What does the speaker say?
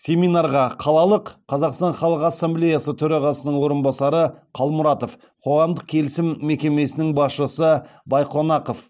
семинарға қалалық қазақстан халық ассамблеясы төрағасының орынбасары қалмұратов қоғамдық келісім мекемесінің басшысы байқонақов